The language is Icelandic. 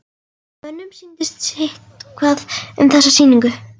Mönnum sýndist sitthvað um þessa sýningu.